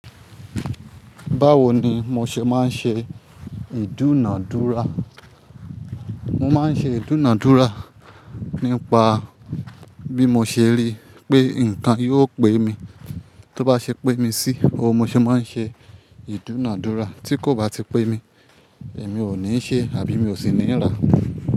Báwo ni mo ṣe máa ń ṣe ìdúnàádúrà? Mo máa ń ṣe ìdúnàádúrà nípa bí mo ṣe rí pé nǹkan yóò pé mi. Tí ó bá ṣe pé mi sí, óun mo ṣe máa ń ṣe ìdúnàádúrà, tí kò bá ti pé mi, èmi ò ní ṣe àbí mi ò sì ní rá.